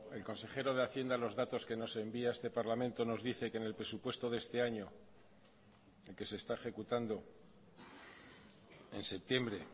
el consejero de hacienda los datos que nos envía a este parlamento nos dice que en el presupuesto de este año el que se está ejecutando en septiembre